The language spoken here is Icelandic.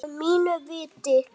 Að mínu viti.